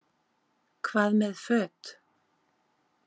Hvað með föt?